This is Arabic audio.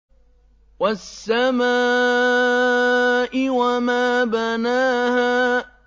وَالسَّمَاءِ وَمَا بَنَاهَا